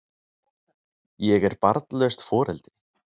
Ég er barnlaust foreldri.